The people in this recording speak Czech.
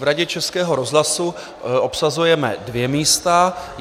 V Radě Českého rozhlasu obsazujeme dvě místa.